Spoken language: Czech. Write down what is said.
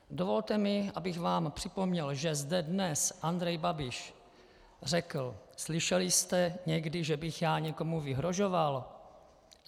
Dovolte mi, abych vám připomněl, že zde dnes Andrej Babiš řekl: Slyšeli jste někdy, že bych já někomu vyhrožoval?